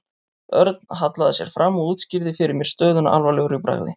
Örn hallaði sér fram og útskýrði fyrir mér stöðuna alvarlegur í bragði.